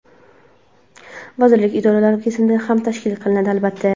vazirlik-idoralar kesimida ham tashkil qilinadi, albatta.